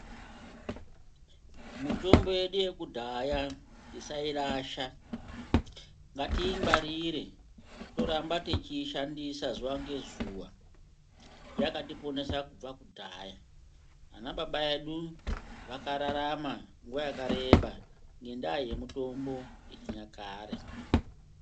Mitombo yedu yekudaya, tisayirasha. Ngatiyingwarire toramba tichiyishandisa zuwa ngezuwa. Yakatiponesa kubva kudaya. Anababa edu, vakararama nguwa yakareba ngendaya yemitombo yechinyakare.